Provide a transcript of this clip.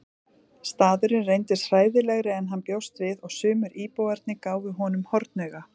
Staðurinn reyndist hræðilegri en hann bjóst við og sumir íbúarnir gáfu honum hornauga.